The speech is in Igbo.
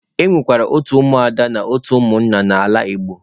E nwekwara otu ụmụ ada na otu ụmụnna n'ala Igbo.